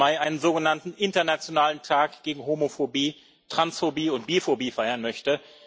17. Mai einen sogenannten Internationalen Tag gegen Homophobie, Transphobie und Biphobie feiern möchte.